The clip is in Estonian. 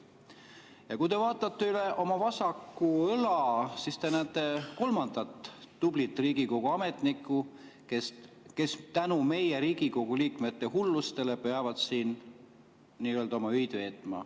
Ja kui te vaatate üle oma vasaku õla, siis te näete kolmandat tublit Riigikogu ametnikku, kes tänu meie, Riigikogu liikmete, hullustele peavad siin nii-öelda oma öid veetma.